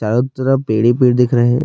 چارو طرف پیڈ ہی پیڈ دکھ رہی ہیں،